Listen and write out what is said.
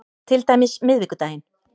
Til dæmis miðvikudaginn